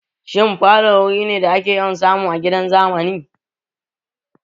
Shin falo wuri ne da ake yawan samu a gidan zamani?